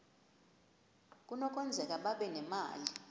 kunokwenzeka babe nemali